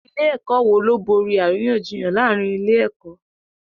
Ilé-ẹ̀kọ́ wo ló borí àríyànjiyàn láàárín ilé-ẹ̀kọ́?